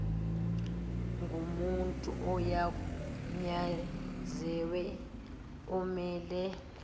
ngomuntu ogunyaziwe omele